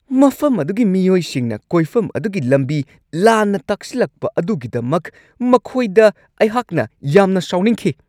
ꯃꯐꯝ ꯑꯗꯨꯒꯤ ꯃꯤꯑꯣꯏꯁꯤꯡꯅ ꯀꯣꯏꯐꯝ ꯑꯗꯨꯒꯤ ꯂꯝꯕꯤ ꯂꯥꯟꯅ ꯇꯥꯛꯁꯤꯜꯂꯛꯄ ꯑꯗꯨꯒꯤꯗꯃꯛ ꯃꯈꯣꯏꯗ ꯑꯩꯍꯥꯛꯅ ꯌꯥꯝꯅ ꯁꯥꯎꯅꯤꯡꯈꯤ ꯫